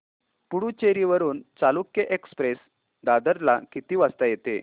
पुडूचेरी वरून चालुक्य एक्सप्रेस दादर ला किती वाजता येते